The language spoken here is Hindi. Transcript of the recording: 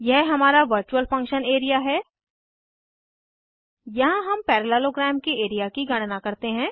यह हमारा वर्चूअल फंक्शन एरिया है यहाँ हम पैरेलेलोग्राम के एरिया की गणना करते हैं